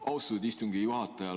Austatud istungi juhataja!